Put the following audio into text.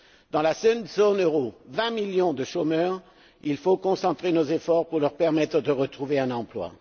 Dans la seule zone euro, on compte 20 millions de chômeurs il faut concentrer nos efforts pour leur permettre de retrouver un emploi.